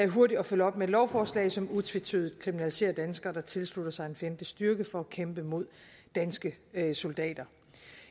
hurtigt at følge op med lovforslag som utvetydigt kriminaliserer danskere der tilslutter sig en fjendtlig styrke for at kæmpe mod danske soldater